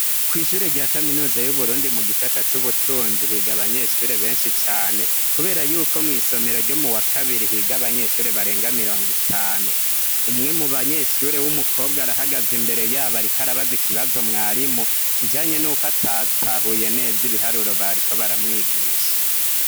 Kw'ishure rya kaminuza y'uburundi mu gisata c'ubutunzi higa abanyeshure benshi cane, kubera yuko mw'isomero ryo mu wa kabiri higa abanyeshure barenga mirongo itanu umwe mu banyeshure w'umukobwa arahagaze imbere yabo, ariko arabaza ikibazo mwari mu kijanye n'uko atatahuye neza ibiharuro bariko baramwigisha.